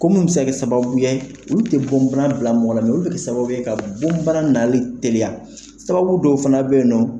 Ko minnnu bɛ se ka kɛ sababu ye olu tɛ bɔnbara bila mɔgɔ la , mɛ olu bɛ kɛ sababu ye ka bonbana nali teliya, sababu dɔw fana bɛ yen nɔ